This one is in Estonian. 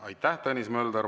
Aitäh, Tõnis Mölder!